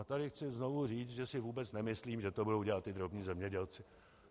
A tady chci znovu říct, že si vůbec nemyslím, že to budou dělat ti drobní zemědělci.